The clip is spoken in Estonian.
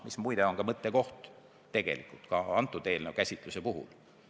Muide, seegi on selle eelnõu käsitluse puhul mõttekoht.